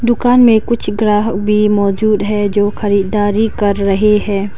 दुकान में कुछ ग्राहक भी मौजूद हैं जो खरीदारी कर रहे हैं।